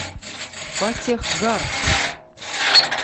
фатехгарх